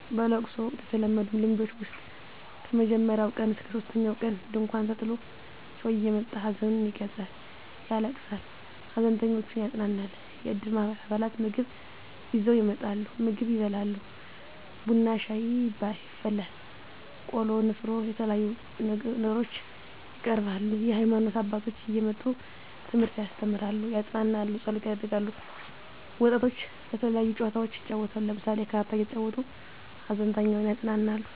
በለቅሶ ወቅት የተለመዱ ልምዶች ውስጥ ከመጀመሪያው ቀን እስከ ሶስተኛው ቀን ድንኳን ተጥሎ ሰው እየመጣ ሀዘኑን ይገልፃል ያለቅሳል ሃዘንተኞችን ያፅናናል። የእድር ማህበር አባላት ምግብ ይዘው ይመጣሉ ምግብ ይበላል ቡና ሻይ ይፈላል ቆሎ ንፍሮ የተለያዩ ነገሮች ይቀርባሉ። የሀይማኖት አባቶች እየመጡ ትምህርት ያስተምራሉ ያፅናናሉ ፀሎት ያደርጋሉ። ወጣቶች የተለያዩ ጨዋታዎችን ይጫወታሉ ለምሳሌ ካርታ እየተጫወቱ ሃዘንተኛውን ያፅናናሉ።